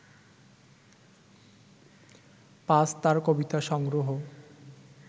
পাজ তার কবিতা সংগ্রহ